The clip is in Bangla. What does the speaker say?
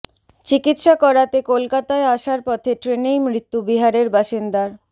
চিকিৎসা করাতে কলকাতায় আসার পথে ট্রেনেই মৃত্যু বিহারের বাসিন্দার